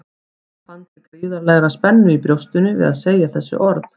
Hún fann til gríðarlegrar spennu í brjóstinu við að segja þessi orð.